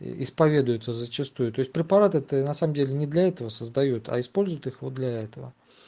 исповедуются зачастую то есть препараты ты на самом деле не для этого создают используют их вот для этого